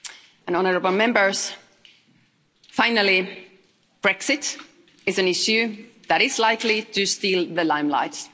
And, honourable Members, finally, Brexit is an issue that is likely to steal the limelight.